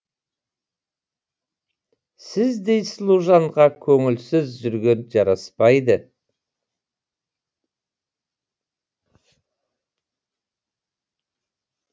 сіздей сұлу жанға көңілсіз жүрген жараспайды